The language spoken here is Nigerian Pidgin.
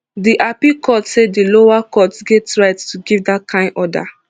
di appeal court say di lower court get right to give dat kain order